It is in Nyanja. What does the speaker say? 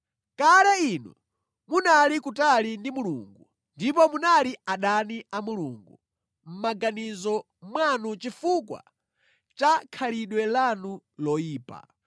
Kale inu munali kutali ndi Mulungu ndipo munali adani a Mulungu mʼmaganizo mwanu chifukwa cha khalidwe lanu loyipa.